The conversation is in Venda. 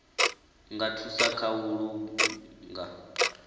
nga thusa kha u langa